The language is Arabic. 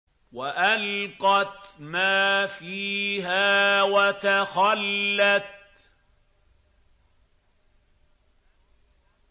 وَأَلْقَتْ مَا فِيهَا وَتَخَلَّتْ